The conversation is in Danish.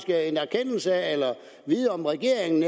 vide om regeringen